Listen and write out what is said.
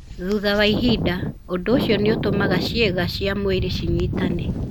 Thutha wa ihinda, ũndũ ũcio nĩ ũtũmaga ciĩga cia mwĩrĩ cinyitane.